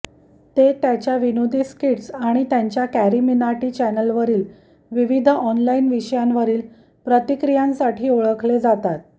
ते त्याच्या विनोदी स्किट्स आणि त्यांच्या कॅरीमिनाटी चॅनलवरील विविध ऑनलाइन विषयांवरील प्रतिक्रियांसाठी ओळखले जातात